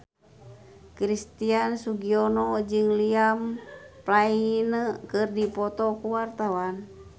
Christian Sugiono jeung Liam Payne keur dipoto ku wartawan